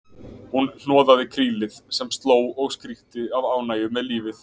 Hún hnoðaði krílið sem hló og skríkti af ánægju með lífið.